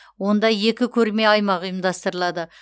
онда екі көрме аймағы ұйымдастырылады